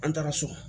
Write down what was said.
An taara so